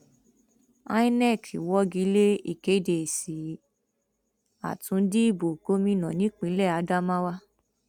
inov wọgi lé ìkéde èsì àtúndì ìbò gómìnà nípínlẹ adamawa